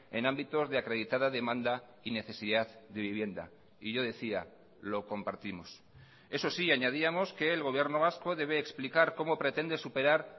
en ámbitos de acreditada demanda y necesidad de vivienda y yo decía lo compartimos eso sí añadíamos que el gobierno vasco debe explicar cómo pretende superar